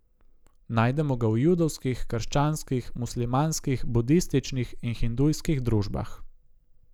Najdemo ga v judovskih, krščanskih, muslimanskih, budističnih in hindujskih družbah.